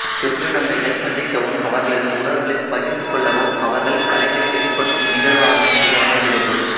திருநங்கைகள் சந்திக்கவும் அவர்களது உணர்வுகளைப் பகிர்ந்து கொள்ளவும் அவர்கள் கலைகளை வெளிப்படுத்தும் நிகழ்வாகவும் இது அமைகிறது